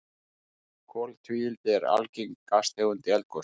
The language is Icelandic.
Koltvíildi er algeng gastegund í eldgosum.